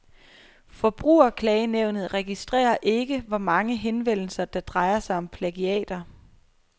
Forbrugerklagenævnet registrerer ikke, hvor mange henvendelser, der drejer sig om plagiater.